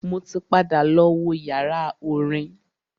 Mo ti padà lọ wo yàrá orin.